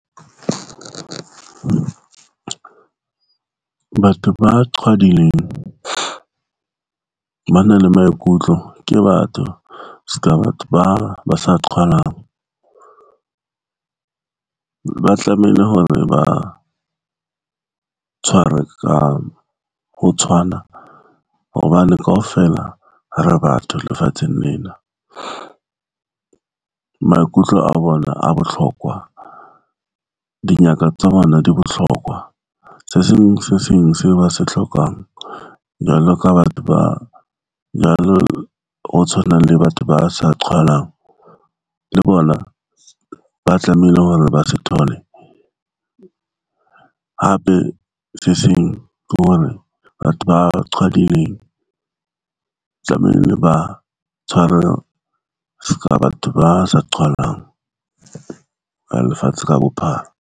Batho ba qhwadileng ba na le maikutlo ke batho ska batho ba sa qhwalang. Ba tlamehile hore ba tshwarwe ka ho tshwana hobane kaofela re batho lefatsheng lena, maikutlo a bona a botlhokwa. Dingaka tsa bona di botlhokwa se seng se seng seo ba se tlhokang. Jwalo ka batho ba jwalo, ho tshwanang le batho ba sa qhwalang le bona, ba tlamehile hore ba se thole hape se seng ke hore batho ba qhwadileng, tlamehile ba tshwarwe seka batho ba sa qhwalang ka lefatshe ka bophara.